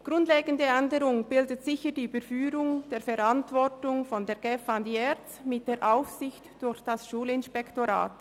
Eine grundlegende Änderung bildet sicher die Überführung der Verantwortung von der GEF zur ERZ mit der Aufsicht durch das Schulinspektorat.